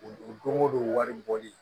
U don o don wari bɔli